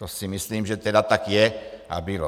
To si myslím, že tedy tak je a bylo.